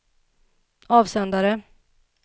avsändare